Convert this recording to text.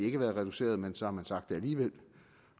ikke være reduceret men så har man sagt det alligevel